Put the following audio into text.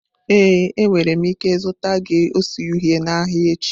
Ee, enwere m ike zụta gị ose uhie n'ahịa echi.